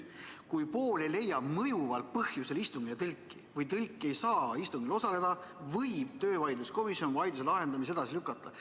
Kui pool ei leia mõjuval põhjusel istungile tõlki või tõlk ei saa istungil osaleda, võib töövaidluskomisjon vaidluse lahendamise edasi lükata.